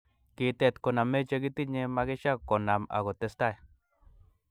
Kitet koname che kitinye makisha konam ako testai